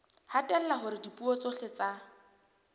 hatella hore dipuo tsohle tsa